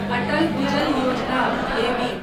अटल भुजल योजना (एबी)